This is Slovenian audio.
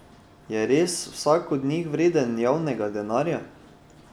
Je res vsak od njih vreden javnega denarja?